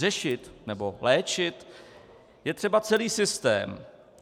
Řešit nebo léčit je třeba celý systém.